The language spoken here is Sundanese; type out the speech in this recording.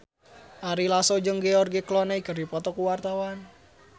Ari Lasso jeung George Clooney keur dipoto ku wartawan